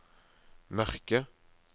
mørke